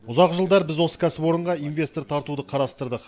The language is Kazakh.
ұзақ жылдар біз осы кәсіпорынға инвестор тартуды қарастырдық